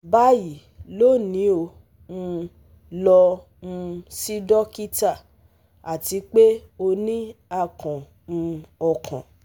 Bayi, loni o um lọ um si dokita ati pe o ni akàn um ọkan